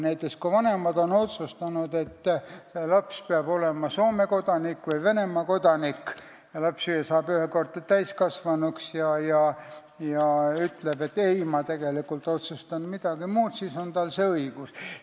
Näiteks kui vanemad on otsustanud, et laps peab olema Soome või Venemaa kodanik, ja laps saab ükskord täiskasvanuks ja ütleb, et ma tegelikult tahan mingi muu otsuse teha, siis tal on see õigus.